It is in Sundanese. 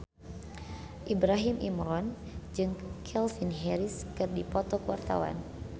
Ibrahim Imran jeung Calvin Harris keur dipoto ku wartawan